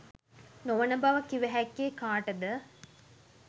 නොවන බව කිව හැක්කේ කාටද?